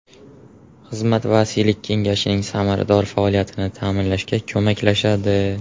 Xizmat vasiylik kengashining samarador faoliyatini ta’minlashga ko‘maklashadi.